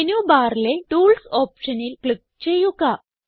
menu ബാറിലെ tools ഓപ്ഷനിൽ click ചെയ്യുക